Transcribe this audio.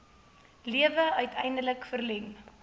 lewe uiteindelik verleng